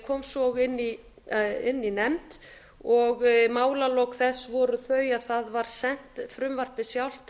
kom svo inn í nefnd og málalok þess voru þau að það var sent frumvarpið sjálft